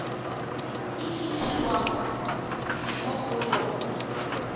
e fitlhelwang mo go yona